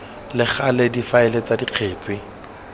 le gale difaele tsa dikgetse